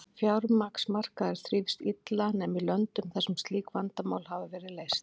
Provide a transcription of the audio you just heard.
Fjármagnsmarkaður þrífst illa nema í löndum þar sem slík vandamál hafa verið leyst.